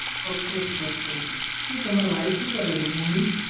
ચોક્કસ-ચોક્કસ શું તમારે wife શું કરે છે ભૂમિ?